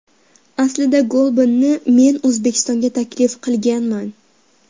Aslida Golbanni men O‘zbekistonga taklif qilganman.